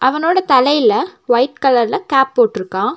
அவனோட தலையில வைட் கலர்ல கேப் போட்ருக்கா.